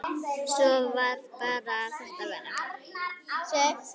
Svo bara varð þetta verra.